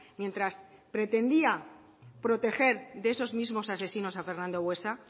mientras pretendía proteger de esos mismos asesinos a fernando buesa